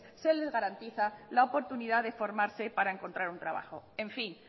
se les garantiza la oportunidad de formarse para encontrar un trabajo en fin